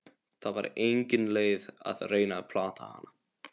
Það var engin leið að reyna að plata hana.